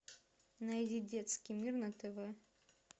найди детский мир на тв